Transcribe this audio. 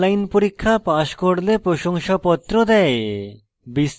online পরীক্ষা pass করলে প্রশংসাপত্র দেয়